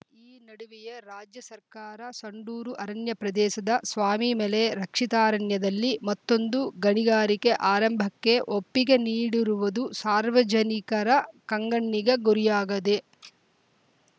ಈ ನಡುವೆಯೇ ರಾಜ್ಯ ಸರ್ಕಾರ ಸಂಡೂರು ಅರಣ್ಯ ಪ್ರದೇಶದ ಸ್ವಾಮಿಮಲೆ ರಕ್ಷಿತಾರಣ್ಯದಲ್ಲಿ ಮತ್ತೊಂದು ಗಣಿಗಾರಿಕೆ ಆರಂಭಕ್ಕೆ ಒಪ್ಪಿಗೆ ನೀಡಿರುವುದು ಸಾರ್ವಜನಿಕರ ಕಂಗಣ್ಣಿಗೆ ಗುರಿಯಾಗದೆ